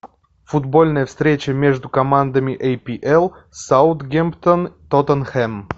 футбольная встреча между командами апл саутгемптон тоттенхэм